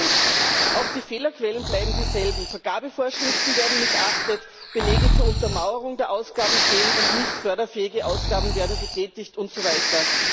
2 Auch die Fehlerquellen bleiben dieselben Vergabevorschriften werden missachtet, Belege zur Untermauerung der Ausgaben fehlen, und nicht förderfähige Ausgaben werden getätigt und so weiter.